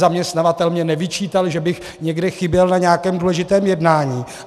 Zaměstnavatel mi nevyčítal, že bych někde chyběl na nějakém důležitém jednání.